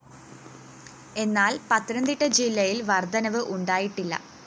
എന്നാല്‍ പത്തനംതിട്ട ജില്ലയില്‍ വര്‍ധനവ് ഉണ്ടായിട്ടില്ല